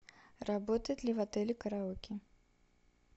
работает ли в отеле караоке